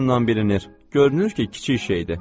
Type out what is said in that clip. Görünür ki, kiçik şeydir.